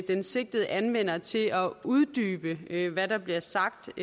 den sigtede anvender til at uddybe hvad der bliver sagt